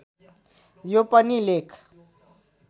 यो पनि लेख